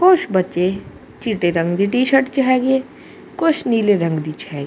ਕੁਛ ਬੱਚੇ ਚਿਟੇ ਰੰਗ ਦੀ ਟੀ ਸ਼ਰਟ 'ਚ ਹੈਗੇ ਆ ਕੁਛ ਨੀਲੇ ਰੰਗ ਦੀ 'ਚ ਹੈ।